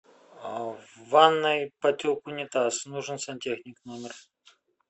в ванной потек унитаз нужен сантехник в номер